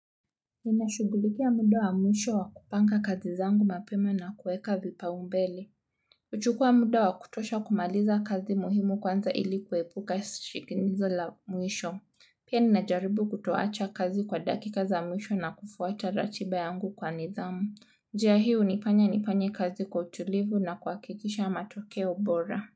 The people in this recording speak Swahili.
Nina shughulikia muda wa mwisho wa kupanga kazi zangu mapema na kueka vipaumbele. Huchukua muda wa kutosha kumaliza kazi muhimu kwanza ili kuepuka shinikizo la mwisho. Pia ninajaribu kutoacha kazi kwa dakika za mwisho na kufuata ratiba yangu kwa nidhamu. Njia hii hunifanya nifanye kazi kwa utulivu na kuhakikisha matokeo bora.